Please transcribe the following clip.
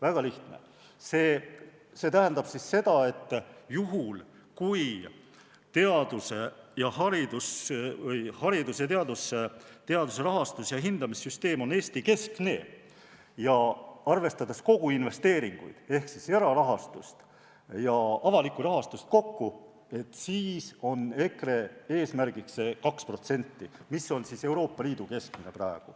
" Väga lihtne, see tähendab, et juhul, kui hariduse ja teaduse rahastus- ja hindamissüsteem on Eesti-keskne ja arvestades investeeringuid ehk erarahastust ja avalikku rahastust kokku, siis on EKRE eesmärgiks 2%, mis on praegu Euroopa Liidu keskmine.